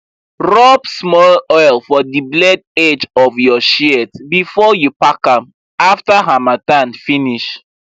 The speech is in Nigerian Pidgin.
rub small oil for the blade edge of your shears before you pack am after harmattan finish